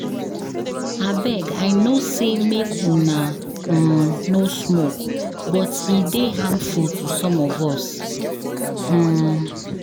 Abeg I no say make una um no smoke but e dey harmful to some of us. um